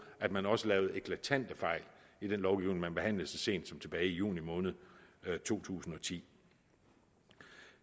at man også lavede eklatante fejl i den lovgivning man behandlede så sent som tilbage i juni måned to tusind og ti